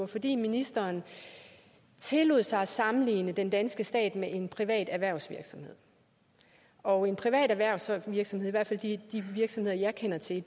fordi ministeren tillod sig at sammenligne den danske stat med en privat erhvervsvirksomhed og en privat erhvervsvirksomhed i hvert fald de virksomheder jeg kender til